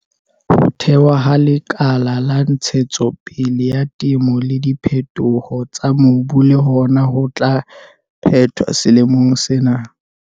Ho thewa ha Lekala la Ntshetsopele ya Temo le Diphetoho tsa Mobu le hona ho tla phethwa selemong sena.